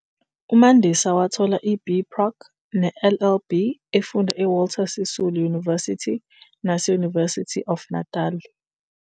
UMandisa wathola iBProc neLLB efunda eWalter Sisulu University naseUniversity of Natal.